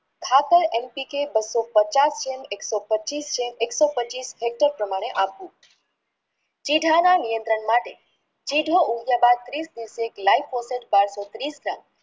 ખાતર એમ ડી કે પચાસ જેમ એક્સો પચીસ પ્રમાણે આપવું જે ધારા નેટ્રન માટે જિધયા ઉગ્યા બાદ